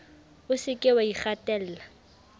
o se ke wa ikgatella